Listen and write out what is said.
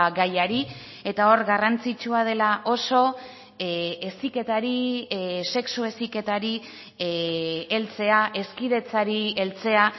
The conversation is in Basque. gaiari eta hor garrantzitsua dela oso heziketari sexu heziketari heltzea hezkidetzari heltzea